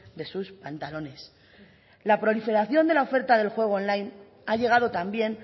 de sus pantalones la proliferación de la oferta del juego on line ha llegado también